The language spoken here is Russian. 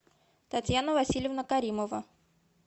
татьяна васильевна каримова